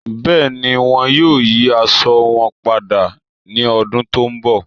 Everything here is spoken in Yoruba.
Bẹẹ̀ni, wọn yóò yí àṣọ wọn pádà ni ọ̀dún tó nbọ̀